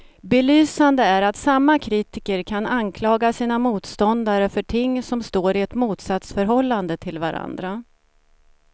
Belysande är att samma kritiker kan anklaga sina motståndare för ting som står i ett motsatsförhållande till varandra.